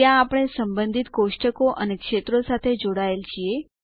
ત્યાં આપણે સંબંધિત કોષ્ટકો અને ક્ષેત્રો સાથે જોડાયેલ છીએ